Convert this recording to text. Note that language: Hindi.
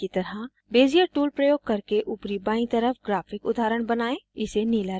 दिखाए गए की तरह bezier tool प्रयोग करके ऊपरी बायीं तरफ graphic उदाहरण बनाएं